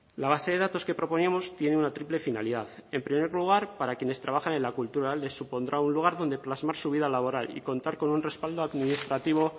la base de datos que proponíamos tiene una triple finalidad en primer lugar para quienes trabajan en la cultura les supondrá un lugar donde plasmar su vida laboral y contar con un respaldo administrativo